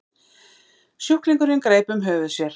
Sjúklingurinn greip um höfuð sér.